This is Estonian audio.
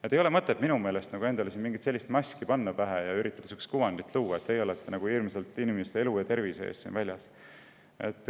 Minu meelest pole siin mõtet endale mingisugust maski ette panna ja üritada luua kuvandit, et ollakse hirmsasti inimeste elu ja tervise eest väljas.